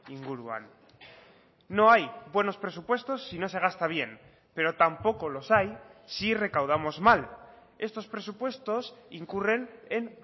inguruan no hay buenos presupuestos si no se gasta bien pero tampoco los hay si recaudamos mal estos presupuestos incurren en